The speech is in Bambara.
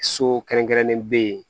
So kɛrɛnkɛrɛnnen be yen